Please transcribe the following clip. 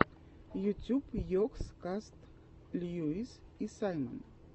ютюб йогс каст льюис и саймон